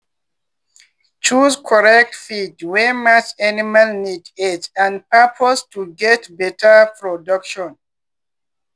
choose correct feed wey match animal need age and purpose to get better production.